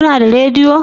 Kuna da rediyo?